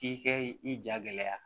K'i kɛ i ja gɛlɛya